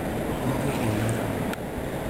Ijo menyorra?